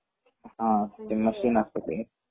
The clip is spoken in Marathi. हा मशीन असत ते